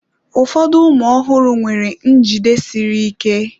Ụfọdụ ụmụ ọhụrụ nwere njide siri ike.